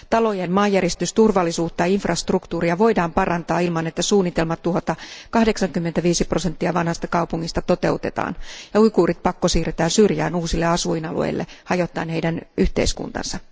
Talojen maanjäristysturvallisuutta ja infrastruktuuria voidaan parantaa ilman, että suunnitelmat tuhota 85 prosenttia vanhasta kaupungista toteutetaan ja uiguurit pakkosiirretään syrjään uusille asuinalueille hajottaen heidän yhteiskuntansa.